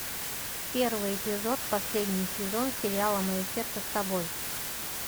первый эпизод последний сезон сериала мое сердце с тобой